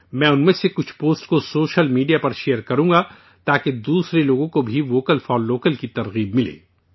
میں ان میں سے کچھ پوسٹ کو سوشل میڈیا پر شیئر کروں گا تاکہ دوسرے لوگوں کو بھی 'ووکل فار لوکل' کا جذبہ حاصل ہو